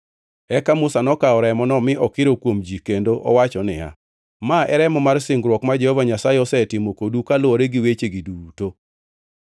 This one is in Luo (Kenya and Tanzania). Eka Musa nokawo remono mi okiro kuom ji kendo owacho niya, “Ma e remo mar singruok ma Jehova Nyasaye osetimo kodu kaluwore gi wechegi duto.”